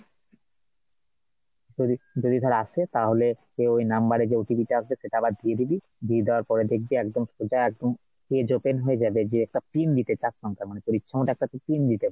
যদি যদি ধর আসে তাহলে ওই number এ যে OTPটা আসবে সেটা আবার দিয়ে দিবি, দিয়ে দেওয়ার পরে দেখবি একদম সোজা একদম page open হয়ে যাবে যে একটা pin দিতে চার সংখ্যার মানে তোর ইচ্ছেমতো তুই একটা pin দিতে পারবি